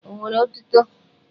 O nwere etuto!